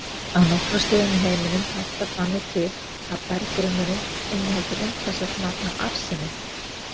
Á nokkrum stöðum í heiminum háttar þannig til að berggrunnurinn inniheldur umtalsvert magn af arseni.